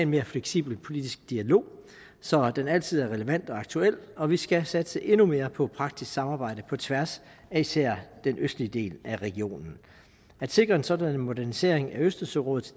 mere fleksibel politisk dialog så den altid er relevant og aktuel og vi skal satse endnu mere på praktisk samarbejde på tværs af især den østlige del af regionen at sikre en sådan modernisering af østersørådet